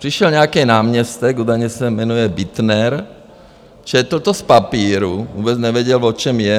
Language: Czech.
Přišel nějaký náměstek, údajně se jmenuje Bittner, četl to z papíru, vůbec nevěděl, o čem je.